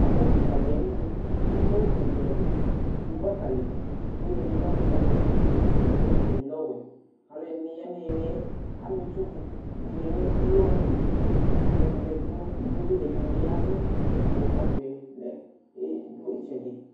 Ɔbɛ kɩkadɩ ayinu : k'iwo ɛlʋɛlʋ dʋ gbaka li : iwodɩ lɛ ɔvɛ ɛdɩ lɛ ofue ɛdɩ lɛ ɔwɛ Alʋɛdɩnɩ ya n'ɩɩlɩɛ , am'itsudɩ dɩnɩ nʋ iwoe ayɩlɩ Alʋɛdɩnɩ zati nʋ iwoe li ɛdɩnɩ bɩ yavʋ, kʋ ɔbɛɛ lɛ e dʋ ɩtsɛdɩ